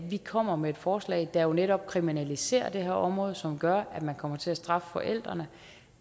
vi kommer med et forslag der netop kriminaliserer det her område og som gør at man kommer til at straffe forældrene